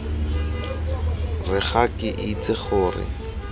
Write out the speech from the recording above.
re ga ke itse gore